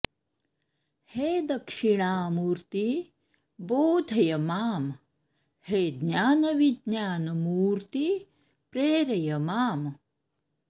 हे दक्षिणा मूर्ति बोधय मां हे ज्ञानविज्ञान मूर्ति प्रेरय माम्